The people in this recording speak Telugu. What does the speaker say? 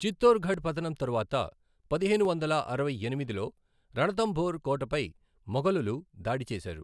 చిత్తోర్గఢ్ పతనం తరువాత పదిహేను వందల అరవై ఎనిమిదిలో రణథంబోర్ కోటపై మొఘలులు దాడి చేసారు.